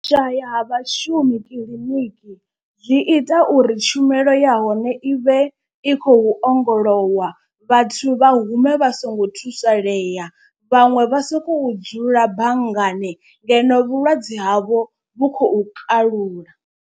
U shaya ha vhashumi kiḽiniki zwi ita uri tshumelo ya hone i vhe i khou ongolowa vhathu vha hume vha songo thusalea. Vhaṅwe vha sokou dzula banngani ngeno vhulwadze havho vhu khou kalula.